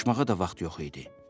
Danışmağa da vaxtı yox idi.